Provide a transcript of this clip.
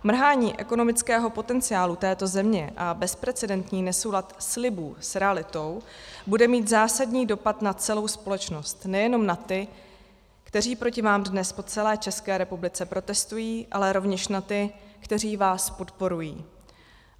Mrhání ekonomického potenciálu této země a bezprecedentní nesoulad slibů s realitou bude mít zásadní dopad na celou společnost, nejenom na ty, kteří proti vám dnes po celé České republice protestují, ale rovněž na ty, kteří vás podporují.